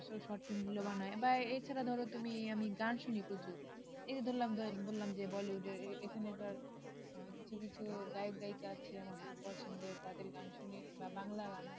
short film বানায় বা এছাড়া ধরো তুমি আমি গান শুনি প্রচুর এই যে ধরলাম বললাম যে বলিউডের এখনার আহ কিছু কিছু গায়ক গায়িকা আছে আমার খুব পছন্দের তাদের গান শুনি বা বাংলা গান